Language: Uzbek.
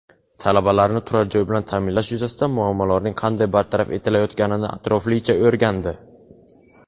talabalarni turar-joy bilan ta’minlash yuzasidan muammolarning qanday bartaraf etilayotganini atroflicha o‘rgandi.